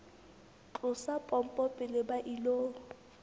tlosa pompo pele ba ilo